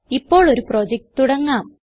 ഇപ്പോൾ ഒരു പ്രൊജക്റ്റ് തുടങ്ങാം